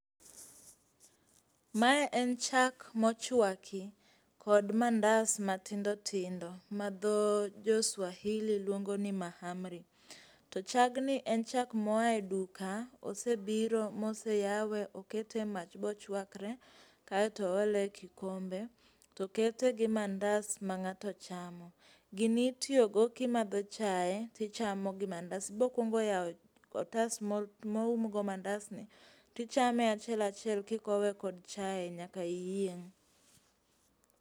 mae en chak mochuaki kod mandas matindo tindo ma dho jo swahili luongo ni mahamri to chagni en chak moa e duka ,osebiro mose yawe okete e mach bochuakre ae to oole e kikombe tokete gi mandas ma ng'ato chamo, gini itiyo go kimadho chae tichamo gi mandas ,ibokuong'o yawo otas mo umgo mandas ni tichame achiel achiel kikowe kod chae nyaka iyieng'